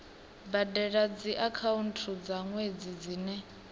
badela dziakhaunthu dza nwedzi dzine